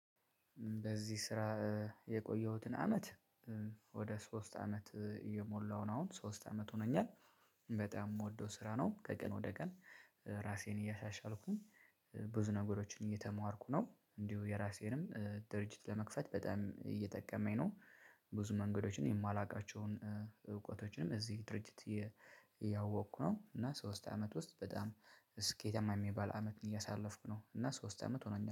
በዚህ ስራ የቆየሁትን አመት ወደ ሶስት አመት እየሞላሁ ነው አሁን ሶስት አመት ሆኖኛል። በጣም የምወደው ስራ ነው ከቀን ወደ ቀን ራሴን እያሻሻልኩኝ ብዙ ነገሮችን እየተማርኩ ነው። እንዲሁ የራሴንም ድርጅት ለመክፈት በጣም እየጠቀመኝ ነው። ብዙ መንገዶችን የማላውቃቸውን እውቀቶችንም እዚህ ድርጅት እያወቅኩ ነው። እና ሶስት አመት ውስጥ በጣም ስኬታማ የሚባል አመት እያሳለፍኩ ነው። እና ሶስት አመት ሆኖኛል